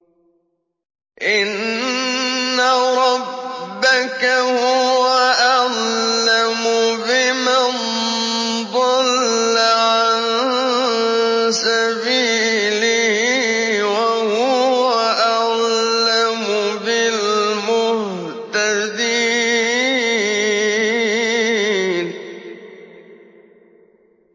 إِنَّ رَبَّكَ هُوَ أَعْلَمُ بِمَن ضَلَّ عَن سَبِيلِهِ وَهُوَ أَعْلَمُ بِالْمُهْتَدِينَ